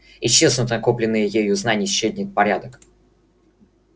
исчезнут накопленные ею знания исчезнет порядок